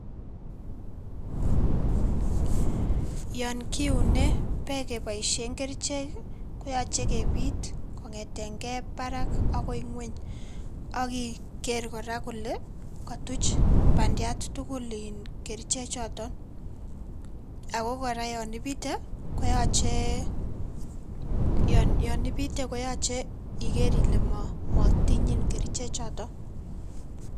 Yon kiune beek keboishen kerichek koyache kebiit kong'eten gee parak akoi ngweny, akiger kora kole kotuch pandiat tugul iin kerichechoton ako kora yon ibite koyoche iker ile motiny kora kerichechoton.